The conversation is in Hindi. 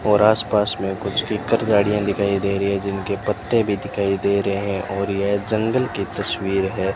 और आसपास में कुछ किक्कर झाड़ियां दिखाई दे रही है जिनके पत्ते भी दिखाई दे रहे है और यह जंगल की तस्वीर है।